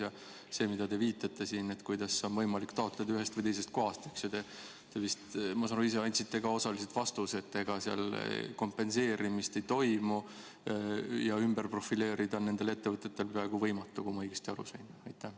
Ja sellele, millele te siin viitasite, kuidas on võimalik taotleda ühest või teisest kohast, ma saan aru, te ise andsite ka osaliselt vastuse, et ega seal kompenseerimist ei toimu ja ennast ümber profileerida on nendel ettevõtetel peaaegu võimatu, kui ma õigesti aru sain.